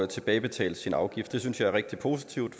tilbagebetalt sin afgift det synes jeg er rigtig positivt